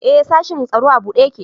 E, sashin tsaro a buɗe ƴaƙe.